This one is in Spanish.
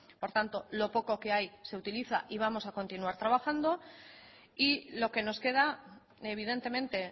por tanto lo poco que hay se utiliza y vamos a continuar trabajando y lo que nos queda evidentemente